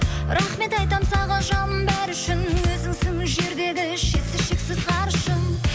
рахмет айтам саған жаным бәрі үшін өзіңсің жердегі шетсіз шексіз ғарышым